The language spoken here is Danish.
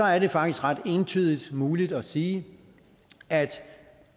er det faktisk ret entydigt muligt at sige